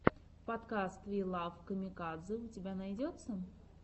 подкаст ви лав камикадзе у тебя найдется